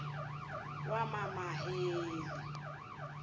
wamamaheli